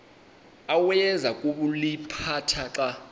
awayeza kuliphatha xa